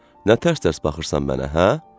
Nə tərs-tərs baxırsan mənə, hə?